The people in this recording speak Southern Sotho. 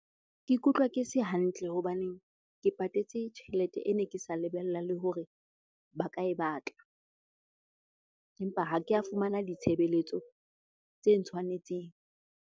Ke ikutlwa ke se hantle hobane ke patetse tjhelete e ne ke sa lebella le hore ba ka e batla. Empa ha ke a fumana ditshebeletso tse ntshwanetseng.